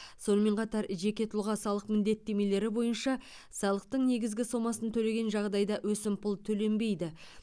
сонымен қатар жеке тұлға салық міндеттемелері бойынша салықтың негізгі сомасын төлеген жағдайда өсімпұл төленбейді